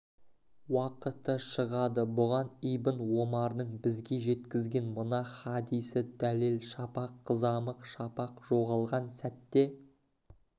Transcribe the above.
уақыты шығады бұған ибн омардың бізге жеткізген мына хадисі дәлел шапақ қызамық шапақ жоғалған сәтте